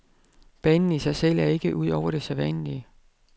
Banen i sig selv er ikke ud over det sædvanlige.